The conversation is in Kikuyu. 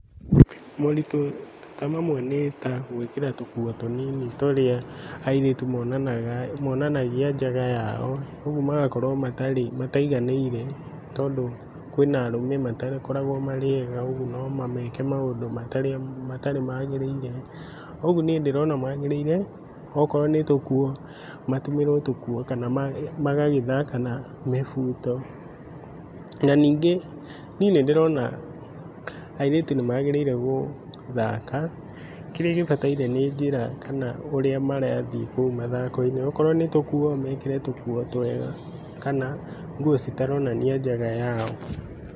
Moritũ ta mamwe nĩ ta gwĩkĩra tũkuo tũnini tũrĩa airĩtu monanaga monanagia njaga yao, ũguo magakorwo matarĩ mataiganĩire tondũ kwĩna arũme matakoragwo marĩ ega ũguo nomameke maũndũ matarĩ matarĩ matagĩrĩire, ũguo niĩ ndĩrona magĩrĩire, akorwo nĩtũkuo matumĩrwo tũkuo kana magagĩthaka na mĩbuto. Na ningĩ niĩ nĩndĩrona airĩtu nĩmagĩrĩire gũthaka, kĩrĩa gĩbataire nĩ njĩra kana ũrĩa marathiĩ kũu mathako-inĩ, akorwo nĩ tũkuo, mekĩre tũkuo twega kana nguo citaronania njaga yao.